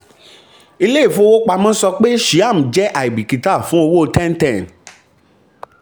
ilé-ìfowópamọ́ sọ pé shyam jẹ́ àìbìkítà fi owó ten ten.